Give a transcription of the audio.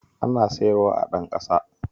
Ana siyarwa a Ɗanƙasa